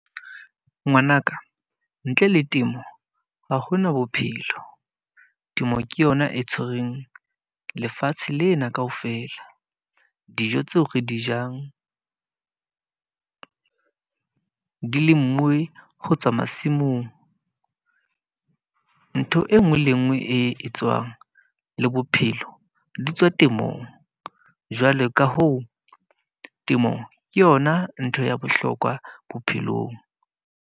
Ngwana ka, ntle le temo ha hona bophelo. Temo ke yona e tshwereng lefatshe lena ka ofela. Dijo tseo re di jang di lemuwe ho tswa masimong. Ntho e nngwe le e nngwe e tswang le bophelo, di tswa temong. Jwale ka hoo, temo ke yona ntho ya bohlokwa bophelong.